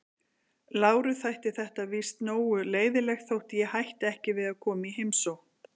Láru þætti þetta víst nógu leiðinlegt þótt ég hætti ekki við að koma í heimsókn.